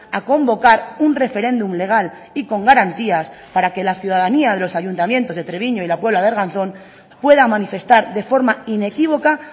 a convocar un referéndum legal y con garantías para que la ciudadanía de los ayuntamientos de treviño y la puebla de arganzón pueda manifestar de forma inequívoca